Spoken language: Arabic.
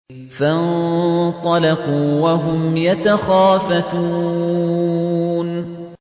فَانطَلَقُوا وَهُمْ يَتَخَافَتُونَ